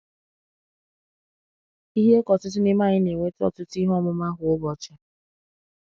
Ihe ka ọtụtụ n’ime anyị na-enweta ọ̀tụtụ ihe ọmụma kwa ụbọchị.